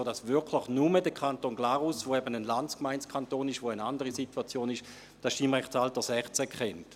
So ist es wirklich nur der Kanton Glarus, der eben eine Landsgemeindekanton ist, wo die Situation anders ist, der das Stimmrechtsalter 16 kennt.